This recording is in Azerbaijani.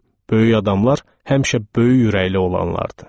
Böyük adamlar həmişə böyük ürəkli olanlardır.